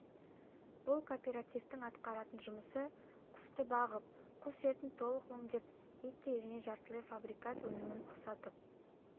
бұл кооперативтің атқаратын жұмысы құсты бағып құс етін толық өңдеп еттей және жартылай фабрикат өнімін ұқсатып